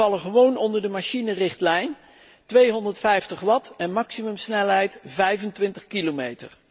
Die vallen gewoon onder de machinerichtlijn 250 Watt en maximumsnelheid 25 km.